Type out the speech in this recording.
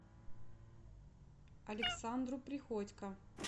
александру приходько